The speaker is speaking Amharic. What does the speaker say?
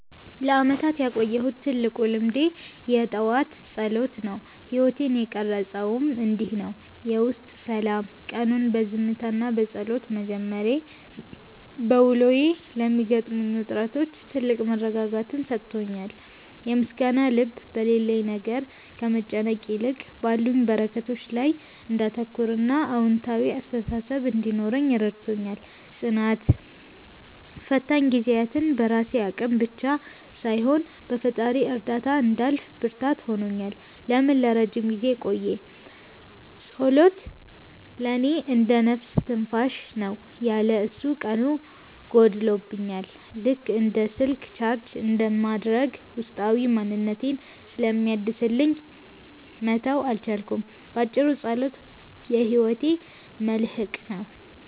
ለዓመታት ያቆየሁት ትልቁ ልማዴ የጠዋት ጸሎት ነው። ሕይወቴን የቀረፀውም እንዲህ ነው፦ የውስጥ ሰላም፦ ቀኑን በዝምታና በጸሎት መጀመሬ፣ በውሎዬ ለሚገጥሙኝ ውጥረቶች ትልቅ መረጋጋትን ሰጥቶኛል። የምስጋና ልብ፦ በሌለኝ ነገር ከመጨነቅ ይልቅ ባሉኝ በረከቶች ላይ እንዳተኩርና አዎንታዊ አስተሳሰብ እንዲኖረኝ ረድቶኛል። ጽናት፦ ፈታኝ ጊዜያትን በራሴ አቅም ብቻ ሳይሆን በፈጣሪ እርዳታ እንዳልፍ ብርታት ሆኖኛል። ለምን ለረጅም ጊዜ ቆየ? ጸሎት ለእኔ እንደ "ነፍስ ትንፋሽ" ነው። ያለ እሱ ቀኑ ጎድሎብኛል፤ ልክ እንደ ስልክ ቻርጅ እንደማድረግ ውስጣዊ ማንነቴን ስለሚያድስልኝ መተው አልቻልኩም። ባጭሩ፣ ጸሎት የሕይወቴ መልሕቅ ነው።